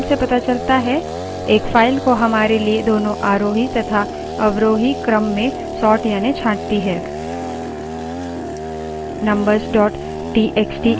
sort command जैसे कि name से पता चलता है एक फाइल को हमारे लिए दोनों आरोही तथा अवरोही क्रम में sort यानि छांटती है